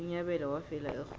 unyabela wafela erholweni